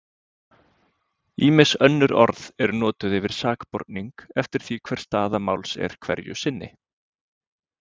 Ýmis önnur orð eru notuð yfir sakborning eftir því hver staða máls er hverju sinni.